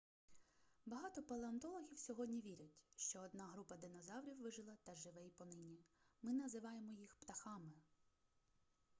багато палеонтологів сьогодні вірять що одна група динозаврів вижила та живе й понині ми називаємо їх птахами